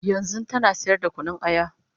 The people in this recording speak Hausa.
yanzun tana sayar da Kunun aya